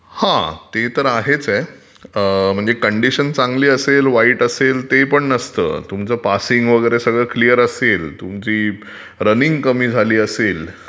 हा म्हणजे ते तर आहेचं आहे. म्हणजे कंडीशन चांगली असेल, वाईटटअसेल ते पण नसतं, पासिंग वगैरे सगळं क्लिअर असेल, तुमची रनिंग कमी झाली असेल